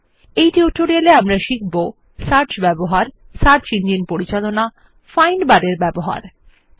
Iএই টিউটোরিয়ালে আমরা শিখব কিভাবে সার্চ ব্যবহার সার্চ ইঞ্জিন পরিচালনা ফাইন্ড বার এর ব্যবহার করা যায়